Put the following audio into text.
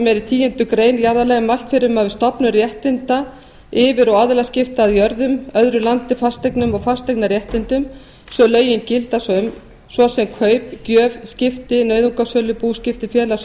málsgreinar tíundu grein jarðalaga er mælt fyrir um að við stofnun réttinda yfir og aðilaskipti að jörðum öðru landi fasteignum og fasteignaréttindum sem lögin gilda um svo sem fyrir kaup gjöf skipti nauðungarsölu búskipti félags